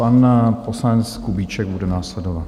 Pan poslanec Kubíček bude následovat.